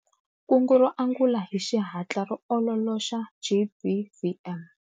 Kungu ro angula hi xihatla ro ololoxa GBVM.